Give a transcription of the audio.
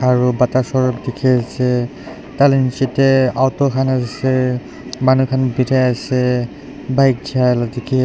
aru bata showroom dikhi ase tai la niche tey auto khan ase manu khan birai ase bike jaa la dikhi--